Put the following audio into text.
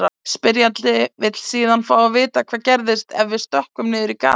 Spyrjandi vill síðan fá að vita hvað gerist ef við stökkvum niður í gatið.